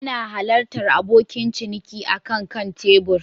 Ana halartar abokin ciniki akan kan tebur